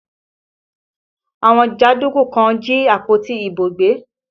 Àwọn jàndúkú kan jí àpótí ìbò gbé